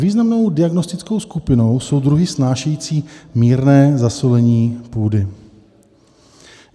Významnou diagnostickou skupinou jsou druhy snášející mírné zasolení půdy.